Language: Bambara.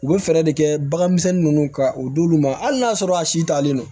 U bɛ fɛɛrɛ de kɛ baganmisɛnnin ninnu ka o d'olu ma hali n'a y'a sɔrɔ a si taalen don